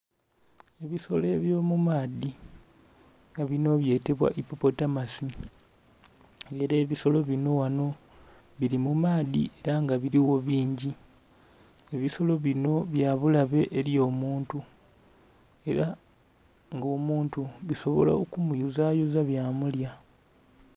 Ebisolo ebyo mu maadhi nga binho byetebbwa hipopotamasi nga era ebisolo binho ghanho bili mu maadhi era nga biligho bingi, ebisolo binho bya bulabe eri omuntu era nga omuntu bisobola oku mukuza yuza bya mulya.